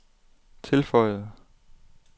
tilføjede